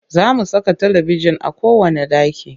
Za mu saka talibijin a kowanne ɗaki